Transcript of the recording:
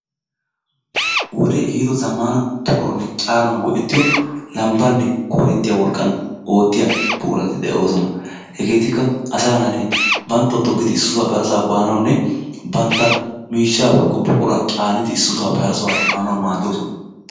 Wodee ehiido zamaana togawunne caanawu gi'ettiyo lambaanne korinttiya wolqqan oottiya buqurati de'oosona. Hegetikka asa naati banttawu togidi issisaappe harasaa banawunne bantta miishshaa woykko buquraa caanidi issiuwappe harasaa efaanawu maaddosona.